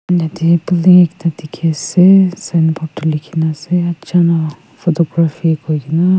yete building ekta dikhi ase signboard tu likhi na ase achano photography kui gina.